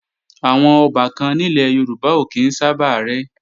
Àwọn ọbàkan nílẹ̀ Yorùbá ò kí ń sábà rẹ́